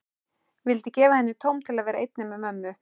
Vildi gefa henni tóm til að vera einni með mömmu.